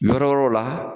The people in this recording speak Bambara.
Yɔrɔ wɛrɛw la